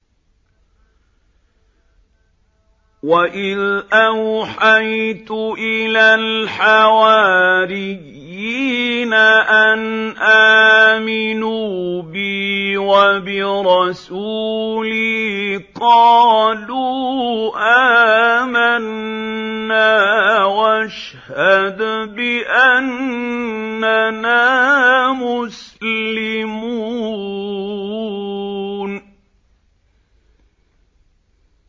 وَإِذْ أَوْحَيْتُ إِلَى الْحَوَارِيِّينَ أَنْ آمِنُوا بِي وَبِرَسُولِي قَالُوا آمَنَّا وَاشْهَدْ بِأَنَّنَا مُسْلِمُونَ